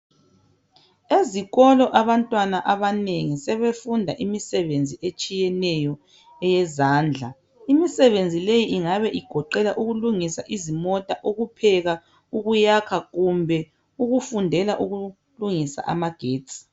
Ezikolo abantwana abanengi sebefunda imisebenzi etshiyeneyo eyezandla imisebenzi le ingabe igoqela ukulungisa izimota, ukupheka ukuyakha kumbe ukufundela ukulungisa amagetsi.